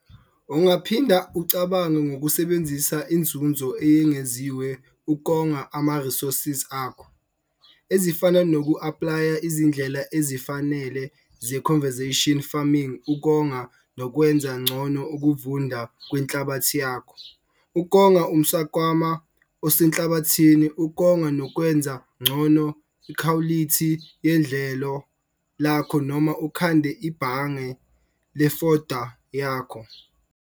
Ungaphinda ucabange ngokusebenzisa inzuzo eyengeziwe ukonga ama-resource akho, ezifana noku-aplaya izindlela ezifanele ze-conservation farming ukonga nokwenza ngcono ukuvunda kwenhlabathi yakho, ukonga umswakama osenhlabathini, ukonga nokwenza ngcono ikhwalithi yedlelo lakho noma ukhande ibhamge lefoda yakho.